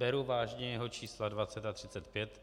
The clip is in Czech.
Beru vážně jeho čísla 20 a 35,